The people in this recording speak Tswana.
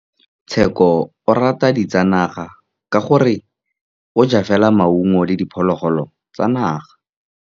Tshekô o rata ditsanaga ka gore o ja fela maungo le diphologolo tsa naga.